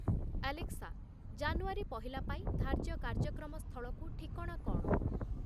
Alexa, ଜାନୁୟାରୀ ପହିଲା ପାଇଁ ଧାର୍ଯ୍ୟ କାର୍ଯ୍ୟକ୍ରମ ସ୍ଥଳକୁ ଠିକଣା କ’ଣ?